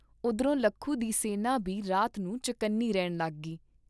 ਉਧਰੋਂ ਲੱਖੂ ਦੀ ਸੈਨਾ ਬੀ ਰਾਤ ਨੂੰ ਚੁਕੰਨੀ ਰਹਿਣ ਲੱਗੀ।